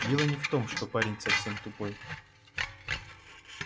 дело не в том что парень совсем тупой